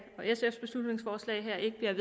jeg er